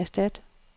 erstat